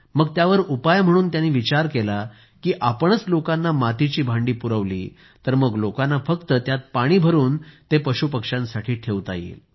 मग यावर उपाय म्हणून त्यांनी विचार केला की आपणच लोकांना मातीची भांडी पुरवली तर मग लोकांना फक्त त्यात पाणी भरुन पशूपक्ष्यांसाठी ठेवता येईल